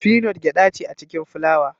Finot Gyaɗa ce a cikin fulawa